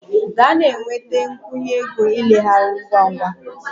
Gaa na-enweta a nkwụnye ego ileghara ngwa ngwa!